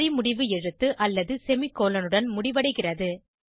வரிமுடிவு எழுத்து அல்லது செமிகோலன் உடன் முடிவடைகிறது